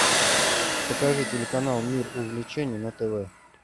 покажи телеканал мир увлечений на тв